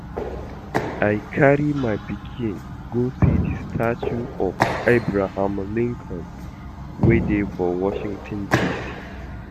I carry my pikin go see the statue of Abraham Lincoln wey dey for Washington D.C